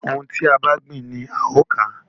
Ohun tí a bá gbìn ni a ó ò ká.